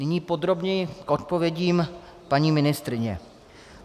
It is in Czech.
Nyní podrobněji k odpovědím paní ministryně.